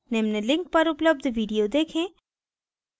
निम्न link पर उपलब्ध video देखें